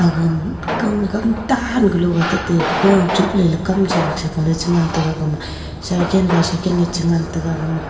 agam Kam gam ta galo gatate go chukla lekam chan chakoley chengan tega agama shaiken byshaiken ley chengan tega aga ma--